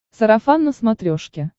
сарафан на смотрешке